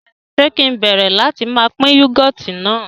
Ṣe kì ń bẹ̀rẹ̀ láti má pín "Yúgọ́ọ́tì" náà